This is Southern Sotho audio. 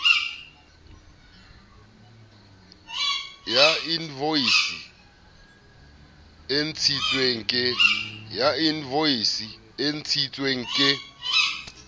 ya invoisi e ntshitswe ke